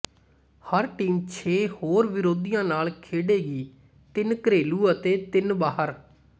ਹਰ team ਛੇ ਹੋਰ ਵਿਰੋਧੀਆਂ ਨਾਲ ਖੇਡੇਗੀ ਤਿੰਨ ਘਰੇਲੂ ਅਤੇ ਤਿੰਨ ਬਾਹਰ